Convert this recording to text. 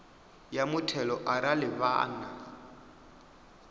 ya muthelo arali vha na